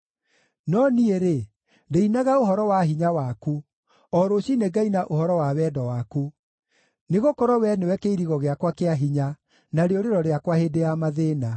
No niĩ-rĩ, ndĩinaga ũhoro wa hinya waku, o rũciinĩ ngaina ũhoro wa wendo waku; nĩgũkorwo Wee nĩwe kĩirigo gĩakwa kĩa hinya, na rĩũrĩro rĩakwa hĩndĩ ya mathĩĩna.